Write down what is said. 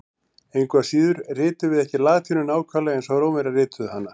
Engu að síður ritum við ekki latínu nákvæmlega eins og Rómverjar rituðu hana.